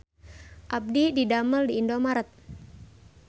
Abdi didamel di Indomart